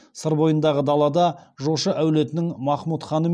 сыр бойындағы далада жошы әулетінің махмұтханы